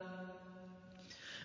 ۞